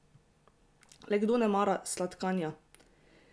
Le kdo ne mara sladkanja?